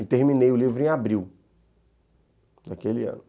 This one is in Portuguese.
E terminei o livro em abril daquele ano.